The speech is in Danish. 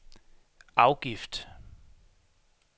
afgift